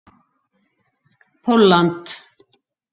Pólland